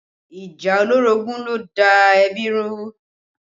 Ìjà olórogún ló da da ẹbí rú